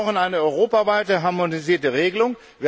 Wir brauchen eine europaweite, harmonisierte Regelung.